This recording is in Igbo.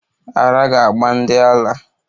Ara ga-agba ndi ala